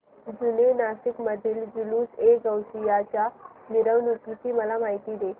जुने नाशिक मधील जुलूसएगौसिया च्या मिरवणूकीची मला माहिती दे